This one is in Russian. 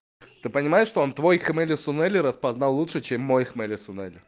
ты понимаешь что он твой хмели-сунели распознал лучше чем мой хмели-сунели